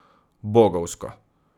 Bogovsko.